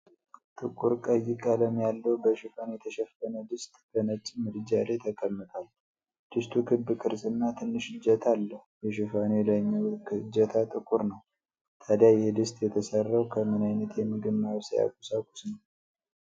ጥቁር ቀይ ቀለም ያለው በሽፋን የተሸፈነ ድስት በነጭ ምድጃ ላይ ተቀምጧል። ድስቱ ክብ ቅርጽና ትንሽ እጀታ አለው፤ የሽፋኑ የላይኛው እጀታ ጥቁር ነው። ታዲያ ይህ ድስት የተሰራው ከምን ዓይነት የምግብ ማብሰያ ቁሳቁስ ነው?